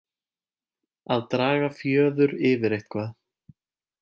Að draga fjöður yfir eitthvað